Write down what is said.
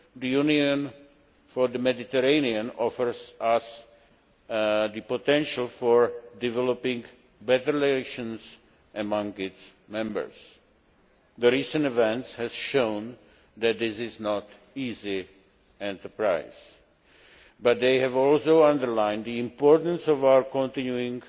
The Union for the Mediterranean offers us the potential for developing better relations among its members. Recent events have shown that this is not an easy enterprise, but they have also underlined the importance of our continuing